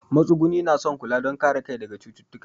Matsuguni na son kula don kare kai daga cututtuka.